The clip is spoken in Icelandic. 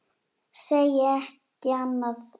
Segi ekki annað.